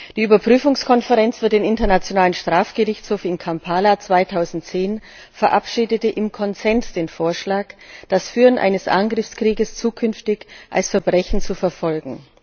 Die Überprüfungskonferenz für den Internationalen Strafgerichtshof in Kampala 2010 verabschiedete im Konsens den Vorschlag, das Führen eines Angriffskrieges zukünftig als Verbrechen zu verfolgen.